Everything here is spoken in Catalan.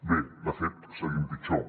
bé de fet seguim pitjor